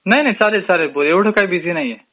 नाही नाही चालेल चालेल, बोल एवढं काय बिझी नाहीये मी